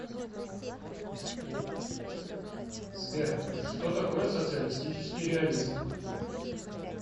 сбер что такое социалистический реализм